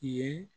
Ye